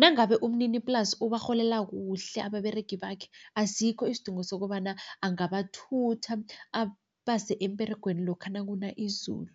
Nangabe umniniplasi ubarholela kuhle ababeregi bakhe, asikho isidingo sokobana angabathutha abase emberegweni lokha nakuna izulu.